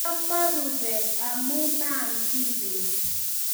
amo rubet amu ma'am kiy beet